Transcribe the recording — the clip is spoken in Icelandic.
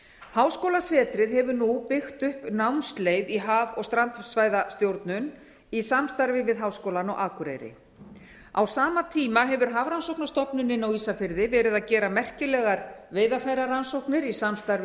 háskólasetrið hefur nú byggt upp námsleið í haf og strandsvæðastjórnun í samstarfi við háskólann á akureyri á sama tíma hefur hafrannsóknastofnunin á ísafirði verið að gera merkilegar veiðarfærarannsóknir í samstarfi